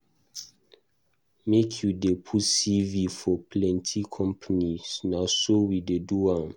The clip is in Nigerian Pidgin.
Make you dey put CV for plenty company, na so we dey do am.